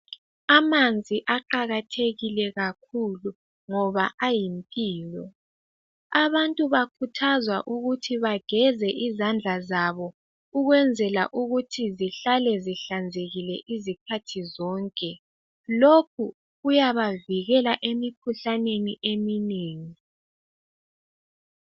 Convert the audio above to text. Amanzi aqakathekile kakhulu ngoba ayimpilo abantu bakhuthazwa ukuthi bageze izandla zabo ukwenzela ukuthi zihlale zihlanzekile izikhathi zonke lokhu kuyabavikela emikhuhlaneni eminengi.